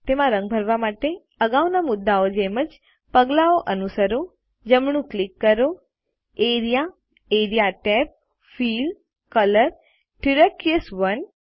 તેમાં રંગ ભરવા માટે અગાઉના મુદ્દાઓ જેમ જ પગલાંઓ અનુસરો જમણું ક્લિક કરો A R E A A R E A tab fill colour turquoise 1